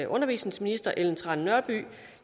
undervisningsminister ellen trane nørby